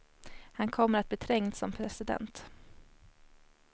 Han kommer att bli trängd som president.